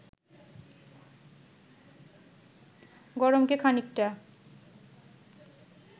গরমকে খানিকটা